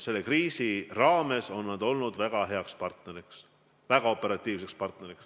Selle kriisi ajal on nad meile olnud väga hea partner, väga operatiivne partner.